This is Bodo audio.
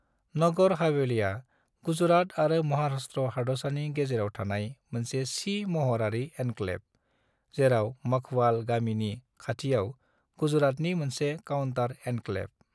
नगर हवेलीआ गुजरात आरो महाराष्ट्र हादरसानि गेजेराव थानाय मोनसे सि महरारि एन्क्लेव, जेराव मघवाल गामिनि खाथियाव गुजरातनि मोनसे काउंटर एन्क्लेव।